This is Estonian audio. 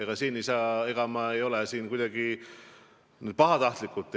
Ma ei ütle seda siin kuidagi pahatahtlikult.